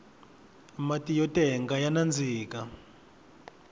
mati yo tenga ya nandzika